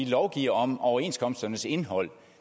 lovgive om overenskomsternes indhold